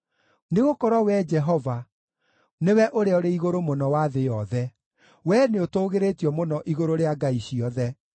Nĩgũkorwo Wee Jehova, nĩwe Ũrĩa-Ũrĩ-Igũrũ-Mũno wa thĩ yothe; wee nĩũtũũgĩrĩtio mũno igũrũ rĩa ngai ciothe.